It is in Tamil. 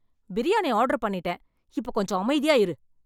பிரியாணி ஆர்டர் பண்ணீட்டேன். இப்போ கொஞ்சம் அமைதியா இரு.